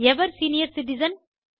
ever senior citizen